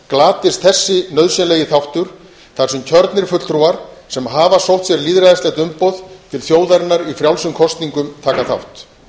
glatist sá nauðsynlegi þáttur þar sem kjörnir fulltrúar sem hafa sótt sér lýðræðislegt umboð til þjóðarinnar í frjálsum kosningum taka þátt